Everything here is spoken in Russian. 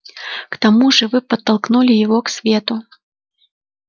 к тому же вы подтолкнули его к свету